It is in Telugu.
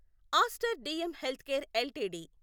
Aster DM healthcare LTD